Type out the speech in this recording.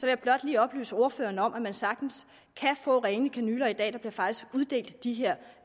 jeg blot lige oplyse ordføreren om at man sagtens kan få rene kanyler i dag der bliver faktisk uddelt de her